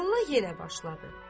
Molla yenə başladı.